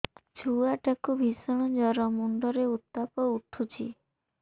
ଛୁଆ ଟା କୁ ଭିଷଣ ଜର ମୁଣ୍ଡ ରେ ଉତ୍ତାପ ଉଠୁଛି